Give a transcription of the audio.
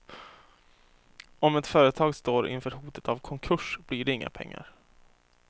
Om ett företag står inför hotet av konkurs, blir det inga pengar.